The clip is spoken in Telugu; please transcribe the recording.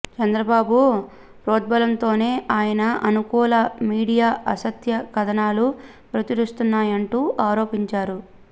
చంద్రబాబు ప్రోద్బలంతోనే ఆయన అనుకూల మీడియా అసత్య కథనాలు ప్రచురిస్తున్నాయంటూ ఆరోపించారు